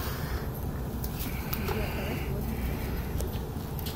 сбер давай сегодня забухаем